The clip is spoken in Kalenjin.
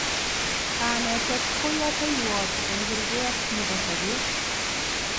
Kanetet ko yateiywot eng kurket nebo sopet